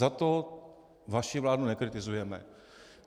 Za to vaši vládu nekritizujeme.